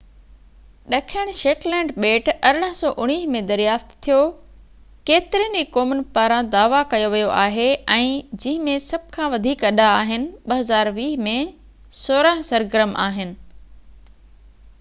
ڏکڻ Shetland ٻيٽ، 1819 ۾ دريافت ٿيو، ڪيترين ئي قومن پاران دعويٰ ڪيو ويو آهي ۽ جنهن ۾ سڀ کان وڌيڪ اڏا آهن، 2020 ۾ سورهن سرگرم آهن